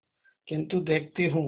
किन्तु देखती हूँ